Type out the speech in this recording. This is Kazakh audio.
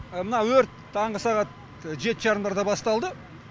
мына өрт таңғы сағат жеті жарымдарда басталды